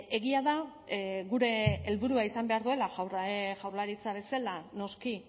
egia da gure helburua izan behar duela jaurlaritza bezala noski